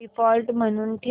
default म्हणून ठेव